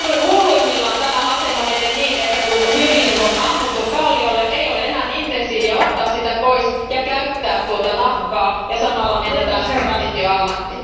Hulluimmillaan tämä asema menee niin, että kun hylje on ammuttu kalliolle, ei ole enää intensiiviä ottaa sitä pois ja käyttää tuota nahkaa ja samalla menetetään traditioammatti.